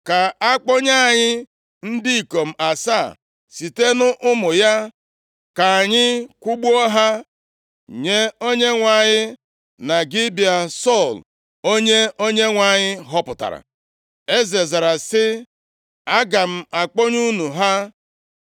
Ka akpọnye anyị ndị ikom asaa site nʼụmụ ya, ka anyị kwụgbuo ha nye Onyenwe anyị na Gibea Sọl, onye Onyenwe anyị họpụtara.” Eze zara sị, “Aga m akpọnye unu ha.”